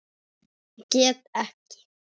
Get ekki.